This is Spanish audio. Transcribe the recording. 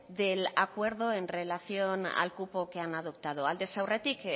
del acuerdo en relación al cupo que han adoptado aldez aurretik